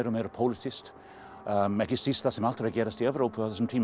meira pólitískt ekki síst þar sem allt er að gerast í Evrópu á þessum tíma